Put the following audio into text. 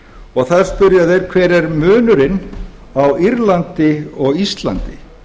í írlandi þar spyrja þeir hver er munurinn á írlandi og íslandi